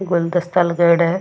गुलदस्ता लगाईडा है।